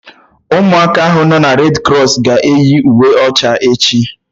Ụmụ aka ahụ nọ redi krọs ga-eyi uwe ọcha echi